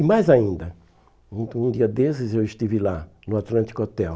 E mais ainda, um dia desses eu estive lá, no Atlântico Hotel.